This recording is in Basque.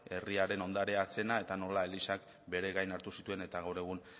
herriaren ondarea zena eta nola elizak bere gain hartu zituen eta gaur egun